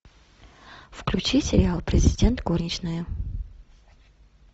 включи сериал президент горничная